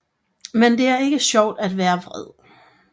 Men det er ikke sjovt at være vred